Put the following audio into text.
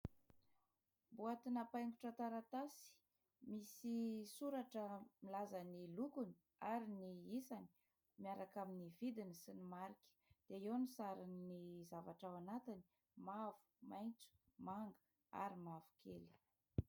Boatina paingotra taratasy. Misy soratra milaza ny lokony ary ny isany miaraka amin'ny vidiny sy ny marika. Dia eo ny sarin'ny zavatra ao anatiny : mavo, maitso, manga ary mavokely.